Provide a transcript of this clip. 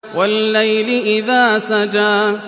وَاللَّيْلِ إِذَا سَجَىٰ